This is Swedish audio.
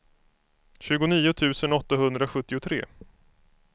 tjugonio tusen åttahundrasjuttiotre